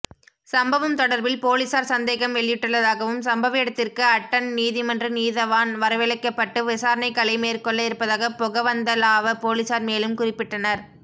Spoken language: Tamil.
சம்பவம் தொடர்பில்பொலிஸார் சந்தேகம்வெளியிட்டுள்ளதாகவும் சம்பவஇடத்திற்கு அட்டன் நீதிமன்ற நீதவான் வரழைக்கபட்டு விசாரனைகலை மேற்கொள்ள இருப்பதாக பொகவந்தலாவ பொலிஸார் மேலும்குறிப்பிட்டனர்